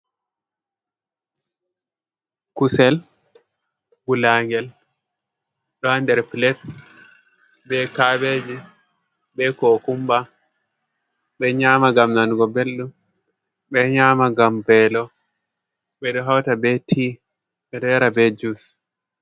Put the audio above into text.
Kusel gulagel ɗo ha nder pilet be kabeji, be kokumba, ɓe nyama gam nanugo beldum, ɓe nyama gam belo, ɓeɗo hauta be ti, ɓeɗo yara be jus.